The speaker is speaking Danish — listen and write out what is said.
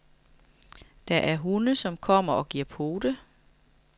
Der er hunde, som kommer og giver pote.